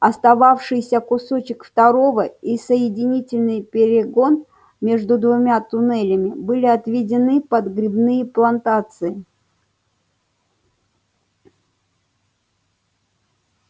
остававшийся кусок второго и соединительный перегон между двумя туннелями были отведены под грибные плантации